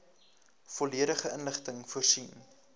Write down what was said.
volledige inligting voorsien